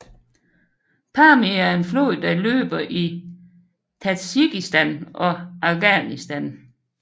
Pamir er en flod der løber i Tadsjikistan og Afghanistan